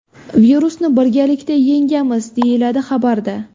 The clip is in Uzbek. Virusni birgalikda yengamiz!”, deyiladi xabarda.